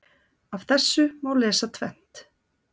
Af þessu má lesa tvennt.